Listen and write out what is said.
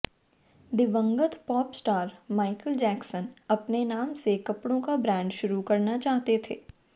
दिवंगत pop star Michael Jackson अपने नाम से कपड़ों का ब्रांड शुरू करना चाहते थे